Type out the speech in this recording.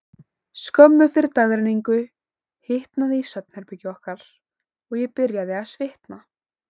Skömmu fyrir dagrenningu hitnaði í svefnherbergi okkar, og ég byrjaði að svitna.